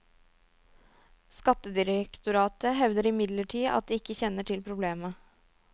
Skattedirektoratet hevder imidlertid at det ikke kjenner til problemet.